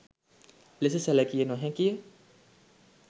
ලෙස සැලකිය නොහැකිය.